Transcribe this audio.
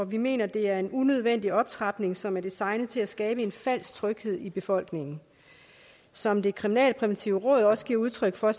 vi mener det er en unødvendig optrapning som er designet til at skabe en falsk tryghed i befolkningen som det kriminalpræventive råd også giver udtryk for